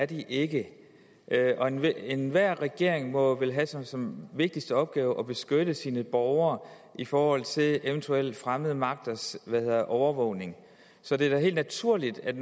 de ikke er det og enhver enhver regering må vel have som sin vigtigste opgave at beskytte sine borgere i forhold til eventuelle fremmede magters overvågning så det er da helt naturligt at